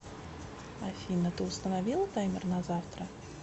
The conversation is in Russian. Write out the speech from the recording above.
афина ты установила таймер на завтра